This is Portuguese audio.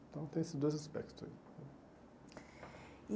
Então tem esses dois aspectos aí. E